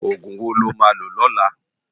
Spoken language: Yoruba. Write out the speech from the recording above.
Ógún wó lo má ló lòlá?